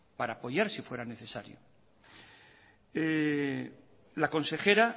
para apoyar si fuera necesario la consejera